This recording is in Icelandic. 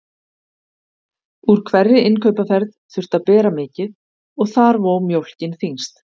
Úr hverri innkaupaferð þurfti að bera mikið og þar vó mjólkin þyngst.